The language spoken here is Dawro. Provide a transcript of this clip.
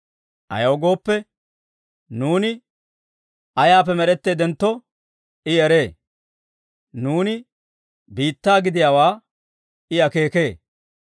Ayaw gooppe, nuuni ayaappe med'etteeddentto I eree; nuuni biittaa gidiyaawaa I akeekee.